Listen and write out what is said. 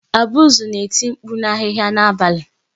Abuzu na-eti mkpu na ahịhịa n'abalị.